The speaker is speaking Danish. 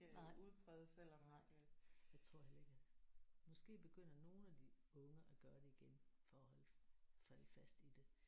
Nej nej jeg tror heller ikke at måske begynder nogle af de unge at gøre det igen for at holde sig fast i det